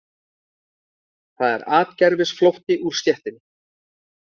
Það er atgervisflótti úr stéttinni